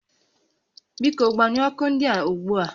Biko gbanyụọ ọkụ ndịa ugbu a